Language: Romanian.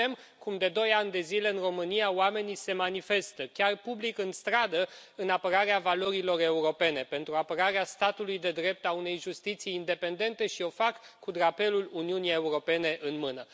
Vedem cum, de doi ani de zile, în România, oamenii se manifestă chiar public, în stradă în apărarea valorilor europene, pentru apărarea statului de drept, a unei justiții independente și o fac cu drapelul Uniunii Europene în mână.